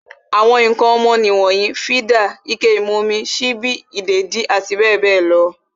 Àwọn ǹkan ọmọ nì wonyii, fídà, ike ìmumi, sípí, ìdèdí abbl.